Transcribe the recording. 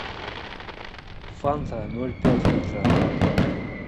фанта ноль пять литра